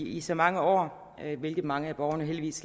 i så mange år hvilket mange af borgerne heldigvis